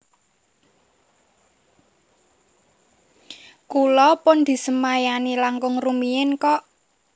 Kula pun disemayani langkung rumiyin kok